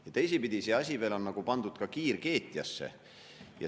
Ja teisipidi, see asi veel on pandud nagu kiirkeetjasse.